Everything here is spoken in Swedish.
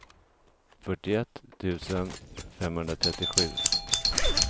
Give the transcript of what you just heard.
fyrtioett tusen femhundratrettiosju